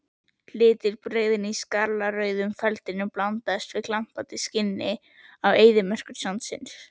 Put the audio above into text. Litbrigðin í skarlatsrauðum feldinum blandast glampandi skini eyðimerkursandsins.